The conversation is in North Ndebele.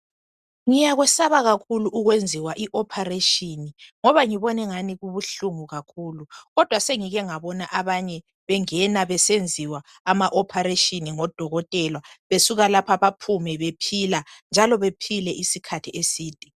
Ngikwesaba kakhulu ukwenziwa i ophareshini, ngoba ngibona engani kubuhlungu kakhulu. Kodwa sengike ngabona abanye bengena besenziwa ama ophareshini ngodokotela, besuka lapha baphume bephila, njalo bephile isikhathi eside.